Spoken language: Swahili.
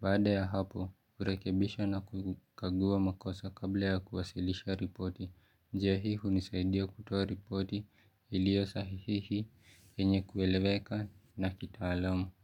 Baada ya hapo, kurekebisha na kukagua makosa kabla ya kuwasilisha ripoti. Njia hii hunisaidia kutoa ripoti ilio sahihihi yenye kueleweka na kitaalamu.